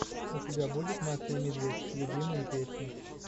у тебя будет маша и медведь любимые песни